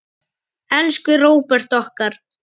Elsku Róbert okkar.